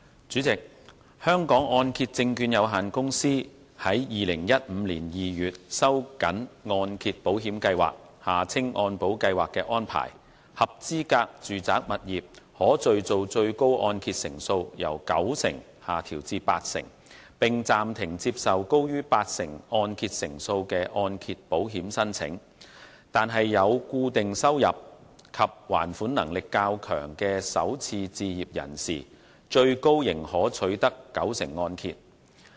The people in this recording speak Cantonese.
主席，香港按揭證券有限公司於2015年2月收緊按揭保險計劃的安排，合資格住宅物業可敘造最高按揭成數由九成下調至八成，並暫停接受高於八成按揭成數的按揭保險申請，但有固定收入及還款能力較強的首次置業人士最高仍可取得九成按揭。